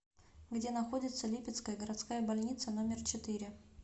где находится липецкая городская больница номер четыре